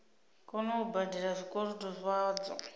kona u badela zwikolodo zwadzo